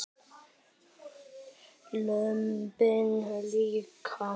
Lömbin líka.